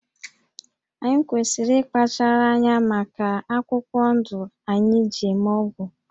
Anyị kwesịrị ịkpachara anya maka akwụkwọ ndụ anyị ji eme ọgwụ